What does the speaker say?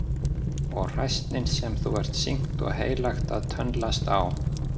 Og hræsnin sem þú ert sýknt og heilagt að tönnlast á!